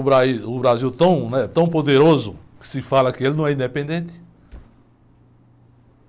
O bra, o Brasil tão, né? Tão poderoso que se fala que ele não é independente.